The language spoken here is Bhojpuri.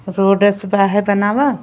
रोडे से बाहर बनाव --